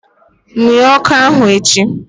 Munye ọkụ ahụ echi!